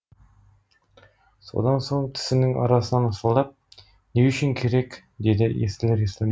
содан соң тісінің арасынан ысылдап не үшін керек деді естілер естімес